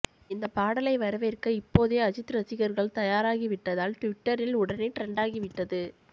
இந்த பாடலை வரவேற்க இப்போதே அஜித் ரசிகர்கள் தயாராகிவிட்டதால் டுவிட்டரில் உடனே டிரெண்ட் ஆகிவிட்டது